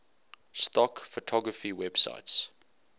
stock photography websites